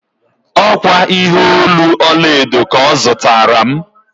Ọ kwa ihe olu ọlaedo ka ọ zụtara m.